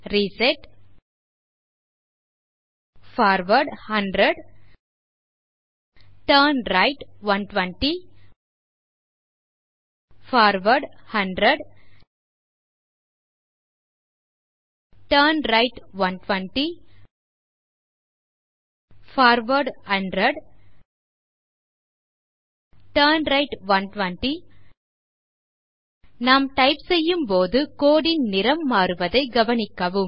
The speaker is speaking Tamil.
reset forward 100 turn right 120 forward 100 turn right 120 forward 100 turn right 120 நாம் டைப் செய்யும்போது code ன் நிறம் மாறுவதை கவனிக்கவும்